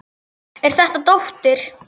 Er þetta dóttir.